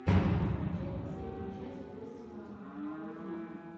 закачай последнюю часть остина махоуна